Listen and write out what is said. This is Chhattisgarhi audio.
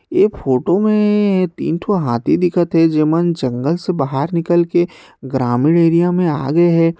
ए फोटो मे तीन ठन हाथी दिखत हे ज़ेमान जंगल से बाहर निकाल के ग्रामीण एरिया मे आ गे हे।